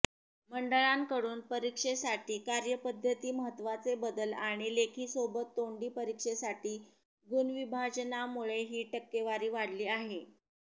मंडळाकडून परीक्षेसाठी कार्यपद्धतीत महत्त्वाचे बदल आणि लेखीसोबत तोंडी परीक्षेसाठी गुण विभाजनामुळे ही टक्केवारी वाढली आहे